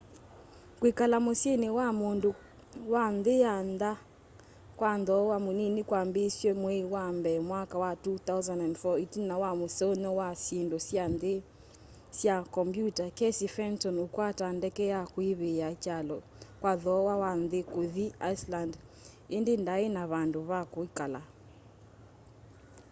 kwikala musyini wa mundu wa nthi ya ntha kwa thooa munini kwambiisw'e mwei wa mbee mwaka wa 2004 itina wa museuny'a wa syindu sya nthini sya kombyuta casey fenton ukwata ndeke ya kuivia kyalo kwa thooa wa nthi kuthi iceland indi ndai na vandu va kwikala